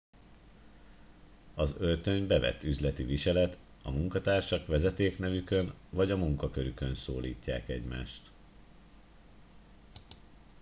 az öltöny bevett üzleti viselet a munkatársak vezetéknevükön vagy a munkakörükön szólítják egymást